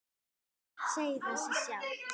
Samt segir það sig sjálft.